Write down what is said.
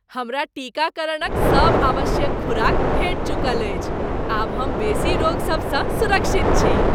हमरा टीकाकरणक सभ आवश्यक खुराक भेटि चुकल अछि। आब हम बेसी रोग सब सँ सुरक्षित छी।